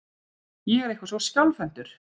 Ég er eitthvað svo skjálfhentur.